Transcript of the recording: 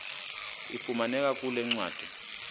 ifumaneka kule ncwadi